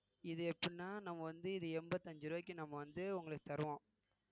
இது எப்படின்னா நம்ம வந்து இது எண்பத்தி அஞ்சு ரூபாய்க்கு நம்ம வந்து உங்களுக்கு தருவோம்